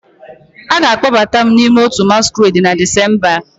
A ga-akpọbata m n'ime otu masquerade na Disemba a